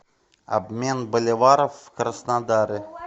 обмен боливаров в краснодаре